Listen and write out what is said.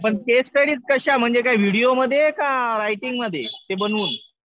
पण case study कशा? म्हणजे व्हिडीओ मध्ये का रायटिंग मध्ये ते बनवून?